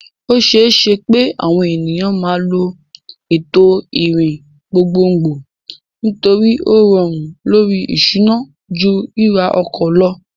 O ṣeé ṣe pé àwọn ènìyàn máa lo ètò ìrìn gbogbogbò nítorí ó rọrùn lórí ìṣúná ju ríra ọkọ̀ lọ.